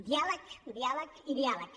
diàleg diàleg i diàleg